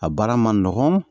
A baara ma nɔgɔn